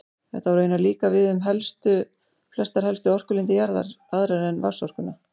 Þetta á raunar líka við um flestar helstu orkulindir jarðar, aðrar en vatnsorkuna.